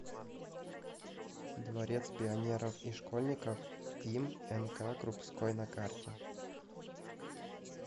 дворец пионеров и школьников им нк крупской на карте